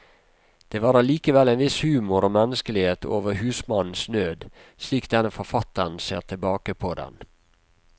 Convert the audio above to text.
Det var allikevel en viss humor og menneskelighet over husmannens nød, slik denne forfatteren ser tilbake på den.